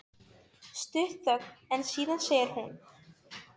Setti hann þetta reyndar á svið með leikrænum tilburðum.